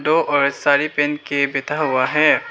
दो औरत साड़ी पहन के बैठा हुआ है।